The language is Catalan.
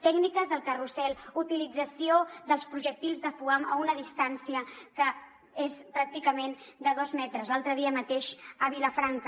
tècniques del carrusel utilització dels projectils de foam a una distància que és pràcticament de dos metres l’altre dia mateix a vilafranca